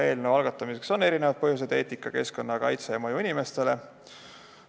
Eelnõu algatamiseks on erinevaid põhjuseid: eetika, keskkonnakaitse ja mõju inimestele.